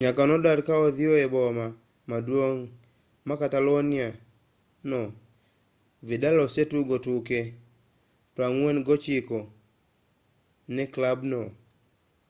nyaka nodar ka odhiyo e boma maduong' ma catalonia no vidal osetugo tuke 49 ne klabno